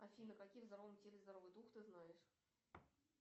афина каким в здоровом теле здоровый дух ты знаешь